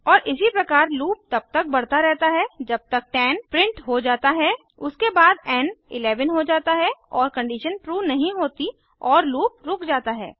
और इसी प्रकार लूप तब तक बढ़ता रहता है जब तक 10 प्रिंट हो जाता है उसके बाद एन 11 हो जाता है और कंडीशन ट्रू नहीं होती और लूप रुक जाता है